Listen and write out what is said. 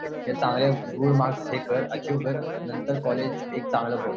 एकत्र चांगलं good marks हे कर अचिव्ह कर आणि नंतर कॉलेज एक चांगलं बघ